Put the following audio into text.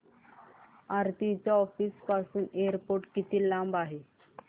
आरती च्या ऑफिस पासून एअरपोर्ट किती लांब आहे